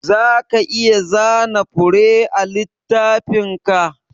Zaka iya zana fure a littafinka?